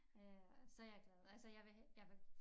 Øh så jeg glad altså jeg vil jeg vil